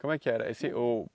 Como é que era? Esse uh